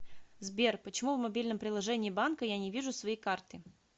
сбер почему в мобильном приложении банка я не вижу свои карты